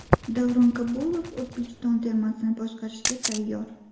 Davron Kabulov O‘zbekiston termasini boshqarishga tayyor.